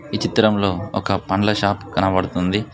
ఈ చిత్రంలో ఒక పండ్ల షాప్ కనబడుతుంది.